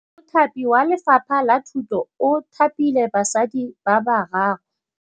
Mothapi wa Lefapha la Thutô o thapile basadi ba ba raro.